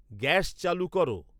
gas চালু কর